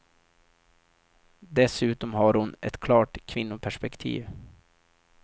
Dessutom har hon ett klart kvinnoperspektiv.